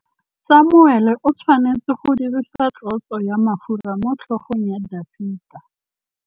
Samuele o tshwanetse go dirisa tlotsô ya mafura motlhôgong ya Dafita.